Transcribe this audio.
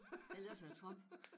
Eller også er det Trump